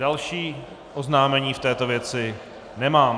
Další oznámení v této věci nemám.